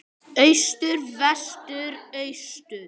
Austur Vestur Austur